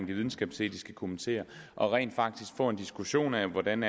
de videnskabsetiske komiteer og rent faktisk får en diskussion af hvordan